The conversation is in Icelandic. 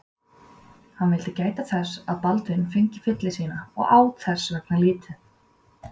Hann vildi gæta þess að Baldvin fengi fylli sína og át þess vegna lítið.